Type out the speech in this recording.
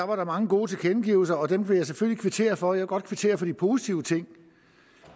var der mange gode tilkendegivelser og dem vil jeg selvfølgelig kvittere for jeg vil godt kvittere for de positive ting